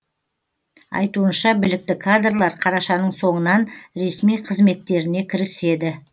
айтуынша білікті кадрлар қарашаның соңынан ресми қызметтеріне кіріседі